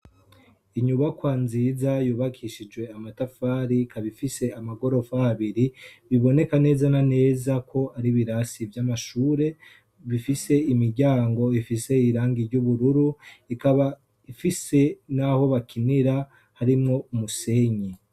Inyubakwa nziza yubakishijwe amatafari, ikaba ifis amagorofa abiri. Biboneka neza na neza ko ari ibirasi vy'amashure bifise imiryango ifise irangi ry'ubururu, ikaba ifise n'aho bakinira harimwo umusenyi.